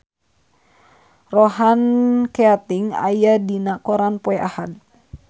Ronan Keating aya dina koran poe Ahad